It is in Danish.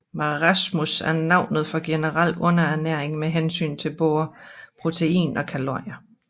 Marasmus er navnet for generel underernæring med hensyn til både protein og kalorier